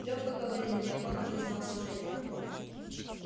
леха говорил неохотно признался женька